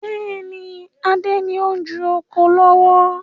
Bẹ́ẹ̀ni, Adé ni o n ju oko lọ́wọ́